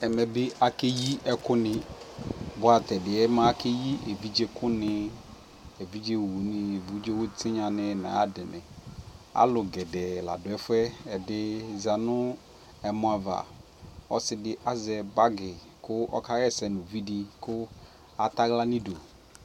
ɛmɛ bi akɛyi ɛkʋ ni bʋa tɛ ɛdiɛ akɛyi ɛvidzɛ kʋ ni, ɛvidzɛ ɔwʋ ni ,ɛvidzɛ tinya ni nʋ ayiadini, alʋ gɛdɛɛ ladʋ ɛƒʋɛ, ɛdi zanʋ ɛmɔ aɣa, ɔsii di azɛ bagi kʋ ɔsɛ nʋ ʋvidi kʋ atala nidʋ